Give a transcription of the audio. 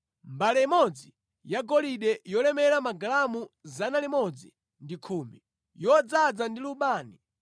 mbale imodzi yagolide yolemera magalamu 110, yodzaza ndi lubani;